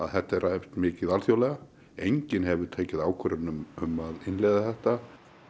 þetta er rætt mikið alþjóðlega enginn hefur tekið ákvörðun um að innleiða þetta